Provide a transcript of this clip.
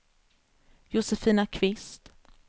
Josefina Kvist